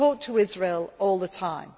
We talk to Israel all the